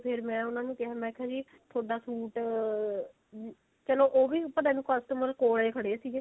ਫੇਰ ਮੈਂ ਉਹਨਾਂ ਨੂੰ ਕਿਹਾ ਮੈਂ ਕਿਹਾ ਜੀ ਥੋਡਾ ਸੂਟ ah ਚਲੋ ਉਹ ਵੀ ਭਲੇ ਨੂੰ customer ਕੋਲ ਹੀ ਖੜੇ ਸੀ